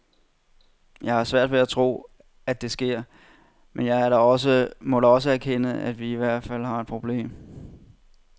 Jeg har svært ved at tro, at det sker, men jeg må da også erkende, at vi i givet fald har et problem.